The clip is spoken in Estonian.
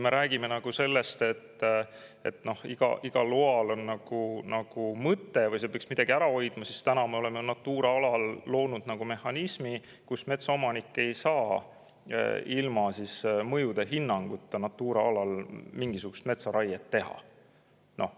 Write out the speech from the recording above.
Me räägime sellest, et igal loal on mõte või see peaks midagi ära hoidma, aga samas oleme Natura alal loonud sellise mehhanismi, et metsaomanik ei saa ilma mõjude hinnanguta Natura alal mingisugust metsaraiet teha.